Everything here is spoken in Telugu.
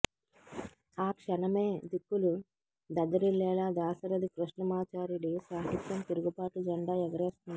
ఆ క్షణమే దిక్కులు దద్దరిల్లేలా దాశరథి కృష్ణమాచార్యుడి సాహిత్యం తిరుగుబాటు జెండా ఎగరేస్తుంది